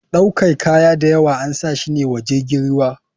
Ɗaukar kaya dayawa ansashi ne wa jirgin ruwa.